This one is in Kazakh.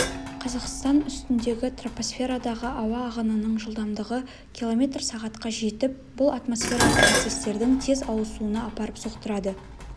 қазақстан үстіндегі тропосферадағы ауа ағынының жылдамдығы км сағатқа жетіп бұл атмосфералық процестердің тез ауысуына апарып соқтырады